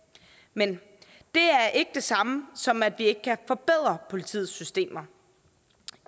men det er ikke det samme som at vi ikke kan forbedre politiets systemer